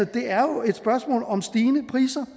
det er jo et spørgsmål om stigende priser